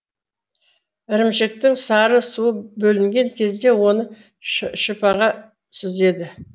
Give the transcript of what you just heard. ірімшіктің сары суы бөлінген кезде оны шыпаға сүзеді